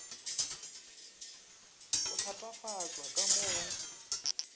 go thatafatšwa ka mo go